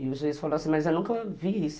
E o juiz falou assim, mas eu nunca vi isso.